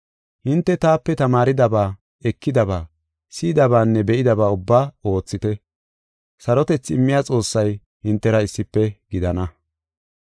Hinte taape tamaaridaba, ekidaba, si7idabanne be7idaba ubbaa oothite. Sarotethi immiya Xoossay hintera issife gidana.